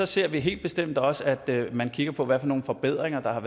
ser vi helt bestemt også at man kigger på hvad for nogle forbedringer der er